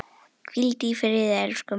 Hvíldu í friði, elsku mágur.